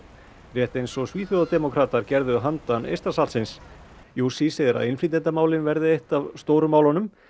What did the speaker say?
rétt eins og gerðu handan Eystrasaltsins jussi segir að innflytjendamálin verði alltaf eitt af stóru málunum